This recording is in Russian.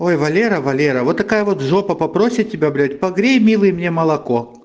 ой валера валера вот такая вот жопа попросит тебя блядь погрей милый мне молоко